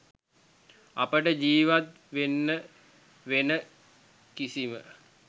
අපට ජිවත් වෙන්න වෙන කිසිම